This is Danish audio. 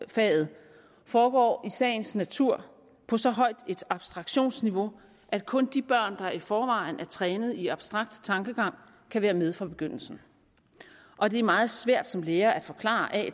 faget foregår i sagens natur på så højt et abstraktionsniveau at kun de børn der i forvejen er trænet i abstrakt tankegang kan være med fra begyndelsen og det er meget svært som lærer at forklare at